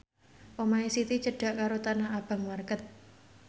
omahe Siti cedhak karo Tanah Abang market